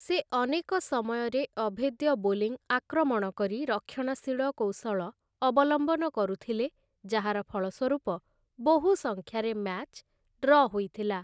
ସେ ଅନେକ ସମୟରେ ଅଭେଦ୍ୟ ବୋଲିଂ ଆକ୍ରମଣ କରି ରକ୍ଷଣଶୀଳ କୌଶଳ ଅବଲମ୍ବନ କରୁଥିଲେ, ଯାହାର ଫଳସ୍ୱରୂପ ବହୁ ସଂଖ୍ୟାରେ ମ୍ୟାଚ ଡ୍ର ହୋଇଥିଲା ।